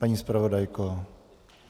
Paní zpravodajko?